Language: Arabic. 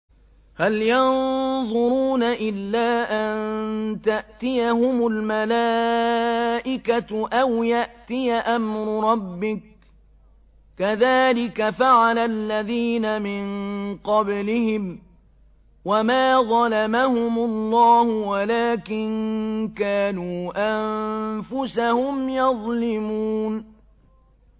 هَلْ يَنظُرُونَ إِلَّا أَن تَأْتِيَهُمُ الْمَلَائِكَةُ أَوْ يَأْتِيَ أَمْرُ رَبِّكَ ۚ كَذَٰلِكَ فَعَلَ الَّذِينَ مِن قَبْلِهِمْ ۚ وَمَا ظَلَمَهُمُ اللَّهُ وَلَٰكِن كَانُوا أَنفُسَهُمْ يَظْلِمُونَ